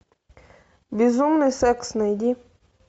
безумный секс найди